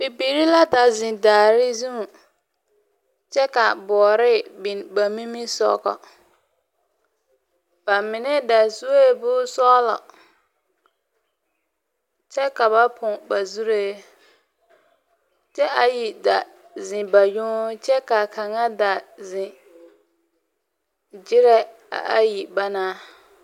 Bibiiri la da zeŋ daare zuŋ, kyɛ ka boɔre biŋ ba mimisɔgɔ. Ba mine da sue bonsɔglɔ, kyɛ ka ba poŋ ba zuree, kyɛ ayi da zeŋ ba yoŋ kyɛ kaa kaŋa da zeŋ gyerɛ a ayi banaŋ.